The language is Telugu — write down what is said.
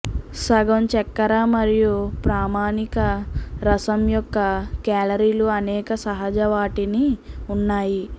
సగం చక్కెర మరియు ప్రామాణిక రసం యొక్క కేలరీలు అనేక సహజ వాటిని ఉన్నాయి